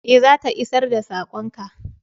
Eh, za ta isar da sakon ka.